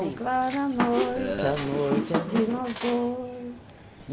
É tão clara a noite, a noite é de nós dois.